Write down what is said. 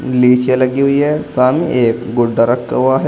लगी हुई है सामने एक गुड्डा रखा हुआ है।